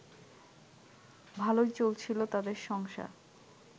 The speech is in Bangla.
ভালোই চলছিল তাদের সংসার